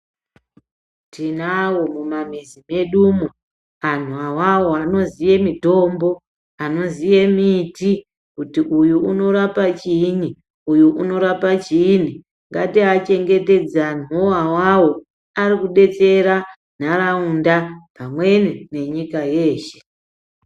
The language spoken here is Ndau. Tinawo mumamizi medumwo anhu awawo anoziye mitombo, anoziye miti kuti uyu unorapa chiinyi, uyu unorapa chiinyi. Ngatiechengetedze anhuwo awawo arikudetsera ntaraunda pamweni ngenyika yeshe.